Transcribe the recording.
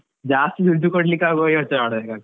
ಜಾಸ್ತಿ ದುಡ್ಡು ಕೊಡ್ಲಿಕ್ಕೆ ಆಗುವಾಗ ಯೋಚ್ನೆ ಮಾಡಬೇಕಾಗ್ತದೆ.